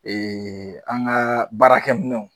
Eee an ga baarakɛ minɛnw